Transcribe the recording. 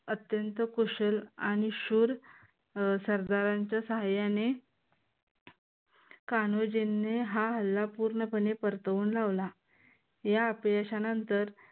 अत्यंत कुशल आणि शूर सरदारांच्या सहाय्याने कान्होजींनी हा हल्ला पूर्णपणे परतवून लावला. या अपयशानंतर